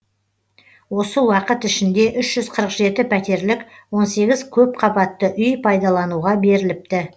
осы уақыт ішінде пәтерлік көпқабатты үй пайдалануға беріліпті